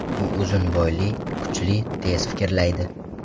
U uzun bo‘yli, kuchli, tez fikrlaydi.